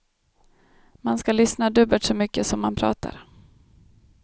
Man ska lyssna dubbelt så mycket som man pratar.